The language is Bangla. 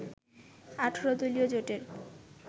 ১৮ দলীয় জোটের